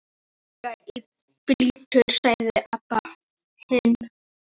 Ég fer líka í bíltúr, sagði Abba hin.